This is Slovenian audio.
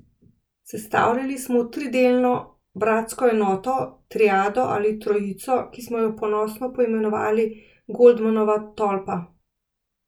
Sestavljali smo tridelno bratsko enoto, triado ali trojico, ki smo jo ponosno poimenovali Goldmanova tolpa.